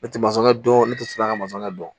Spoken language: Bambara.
Ne tɛ masɔn dɔn ne tɛ sɔrɔ ka masɔnkɛ dɔn